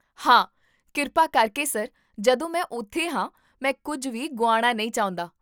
ਹਾਂ, ਕਿਰਪਾ ਕਰਕੇ ਸਰ, ਜਦੋਂ ਮੈਂ ਉੱਥੇ ਹਾਂ, ਮੈਂ ਕੁੱਝ ਵੀ ਗੁਆਉਣਾ ਨਹੀਂ ਚਾਹੁੰਦਾ